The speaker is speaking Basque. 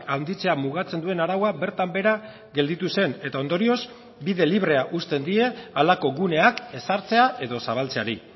handitzea mugatzen duen araua bertan behera gelditu zen eta ondorioz bide librea usten die halako guneak ezartzea edo zabaltzeari